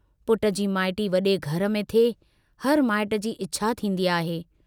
पुट जी माइटी वड़े घर में थिए, हर माइट जी इच्छा थींदी आहे।